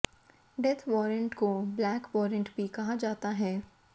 death warrant को black warrant भी कहा जाता है